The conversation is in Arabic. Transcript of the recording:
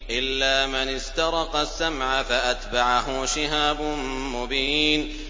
إِلَّا مَنِ اسْتَرَقَ السَّمْعَ فَأَتْبَعَهُ شِهَابٌ مُّبِينٌ